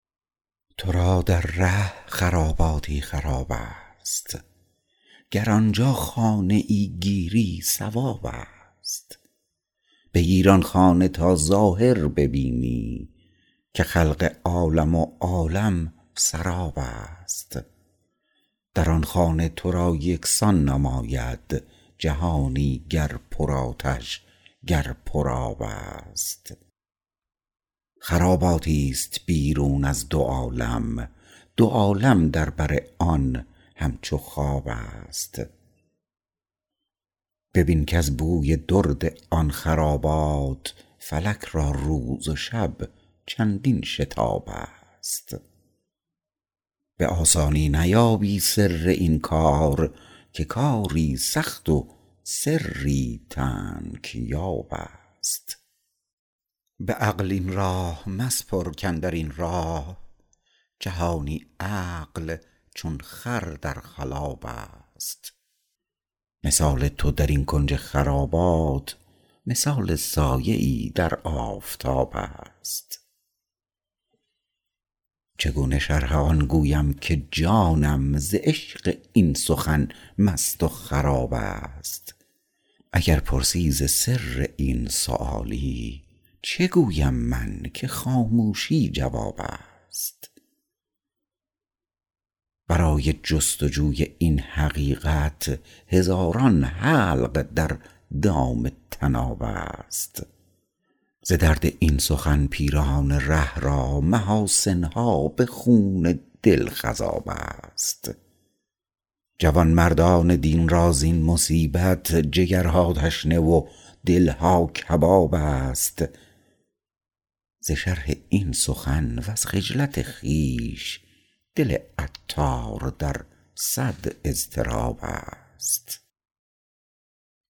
تو را در ره خراباتی خراب است گر آنجا خانه ای گیری صواب است بگیر آن خانه تا ظاهر ببینی که خلق عالم و عالم سراب است در آن خانه تو را یکسان نماید جهانی گر پر آتش گر پر آب است خراباتی است بیرون از دو عالم دو عالم در بر آن همچو خواب است ببین کز بوی درد آن خرابات فلک را روز و شب چندین شتاب است به آسانی نیابی سر این کار که کاری سخت و سری تنگ یاب است به عقل این راه مسپر کاندرین راه جهانی عقل چون خر در خلاب است مثال تو درین کنج خرابات مثال سایه ای در آفتاب است چگونه شرح آن گویم که جانم ز عشق این سخن مست و خراب است اگر پرسی ز سر این سؤالی چه گویم من که خاموشی جواب است برای جست و جوی این حقیقت هزاران حلق در دام طناب است ز درد این سخن پیران ره را محاسن ها به خون دل خضاب است جوانمردان دین را زین مصیبت جگرها تشنه و دلها کباب است ز شرح این سخن وز خجلت خویش دل عطار در صد اضطراب است